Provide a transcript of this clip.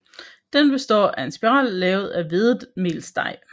Den består af en spiral lavet af hvedemelsdej